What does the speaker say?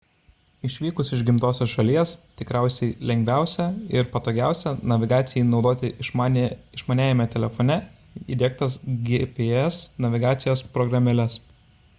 išvykus iš gimtosios šalies tikriausiai lengviausia ir patogiausia navigacijai naudoti išmaniajame telefone įdiegtas gps navigacijos programėles